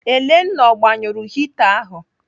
Elenna ọ gbanyụrụ hita ahụ?